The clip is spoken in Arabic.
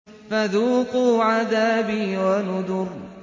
فَذُوقُوا عَذَابِي وَنُذُرِ